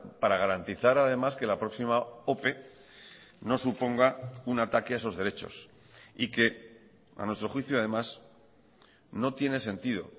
para garantizar además que la próxima ope no suponga un ataque a esos derechos y que a nuestro juicio además no tiene sentido